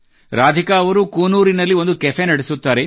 ರಾಧಿಕಾ ಅವರು ಕೂನೂರಿನಲ್ಲಿ ಒಂದು ಕೇಫ್ ನಡೆಸುತ್ತಾರೆ